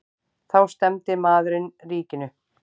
Þá stefndi maðurinn ríkinu.